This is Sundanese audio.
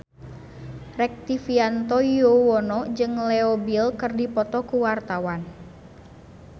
Rektivianto Yoewono jeung Leo Bill keur dipoto ku wartawan